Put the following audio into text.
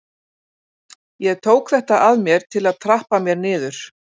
Ég tók þetta að mér til að trappa mér niður.